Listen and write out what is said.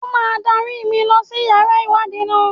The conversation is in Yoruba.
O má dárí mi lọ sí yàrá ìwádìí náà.